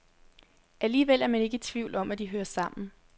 Alligevel er man ikke i tvivl om, at de hører sammen.